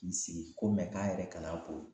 K'i sigi ko mɛ k'a yɛrɛ kana boli